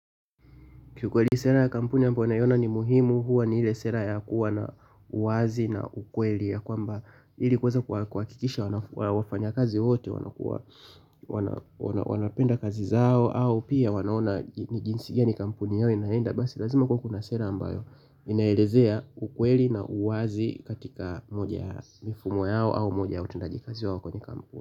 Ki ukweli sera ya kampuni ambayo naiona ni muhimu huwa ni ile sera ya kuwa na uwazi na ukweli ya kwamba ili kuweza kuhakikisha wafanya kazi wote wanapenda kazi zao au pia wanaona ni jinsi gani kampuni yao inaenda basi lazima kuwe kuna sera ambayo inaelezea ukweli na uwazi katika moja ya mifumo yao au moja ya utendaji kazi wao kwenye kampuni.